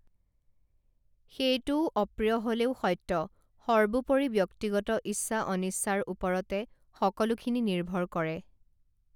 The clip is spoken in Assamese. সেইটোও অপ্ৰিয় হলেও সত্য সৰ্বোপৰি ব্যক্তিগত ইচ্ছাঅনিচ্ছাৰ ওপৰতে সকলোখিনি নিৰ্ভৰ কৰে